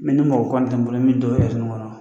Ne ni mɔgɔ koni tɛ n bolo min dɔwɛrɛ nin kɔnɔ